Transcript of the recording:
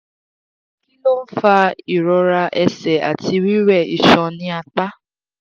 kí ló ń fa ìrora ẹsẹ̀ àti rire isan ni apa?